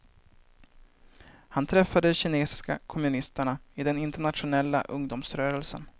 Han träffade de kinesiska kommunisterna i den internationella ungdomsrörelsen.